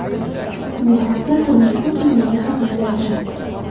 Bu haqda tuman hokimligi xabar berdi .